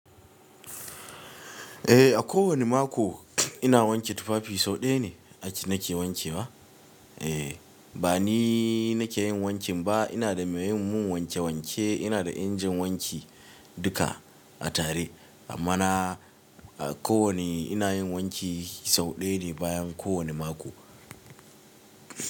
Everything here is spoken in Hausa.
Eh, a kowane mako, ina wanke tufafi sau ɗaya ne ake nake wankewa. Eh, ba ni nike yin wankin ba, ina da me yin mun wanke wanke. Ina da injin wanki, duka a tare, amma na a kowane ina yin wanki sau ɗaya ne bayan kowane mako.